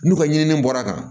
N'u ka ɲinini bɔra kan